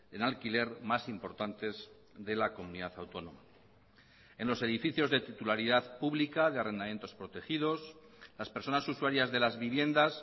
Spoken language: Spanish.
en alquiler más importantes de la comunidad autónoma en los edificios de titularidad pública de arrendamientos protegidos las personas usuarias de las viviendas